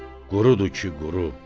qurudur ki, quru.